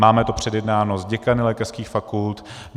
Máme to předjednáno s děkany lékařských fakult.